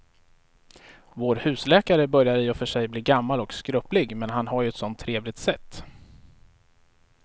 Vår husläkare börjar i och för sig bli gammal och skröplig, men han har ju ett sådant trevligt sätt!